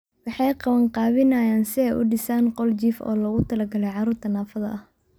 Waxay qabanqaabinayaan si ay u dhisaan qol jiif oo loogu talagalay carruurta naafada ah.